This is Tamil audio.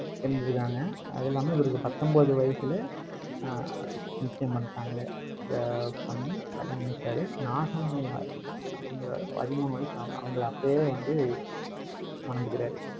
இருந்துருக்காங்க அது இல்லாம இவருக்கு பத்தொன்பது வயசுல, ஆஹ் நிச்சயம் பண்ணிட்டாங்க. ஆஹ் பண்ணி கல்யாணம் முடிச்சாரு. நாகம்மையார் அப்படிங்கிற பதிமூணு வயசு ஆன அவங்களை அப்பயே வந்து மணந்துக்கிறாரு.